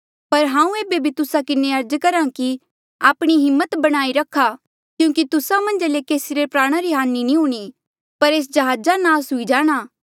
पर हांऊँ एेबे भी तुस्सा किन्हें अर्ज करहा कि आपणी हिम्मत बणाई रखा क्यूंकि तुस्सा मन्झा ले केसी रे प्राणा री हानि नी हूणीं पर एस जहाजा नास हुई जाणा